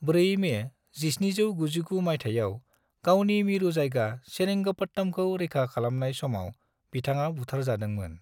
4 May 1799 माइथायाव गावनि मिरु जायगा सेरिंगपट्टमखौ रैखा खालामनाय समाव बिथाङा बुथारजादोंमोन।